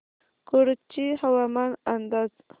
कुडची हवामान अंदाज